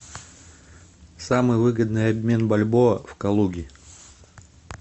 самый выгодный обмен бальбоа в калуге